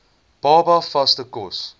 baba vaste kos